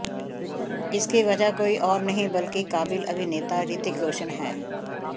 इसकी वजह कोई और नहीं बल्कि काबिल अभिनेता ऋतिक रोशन है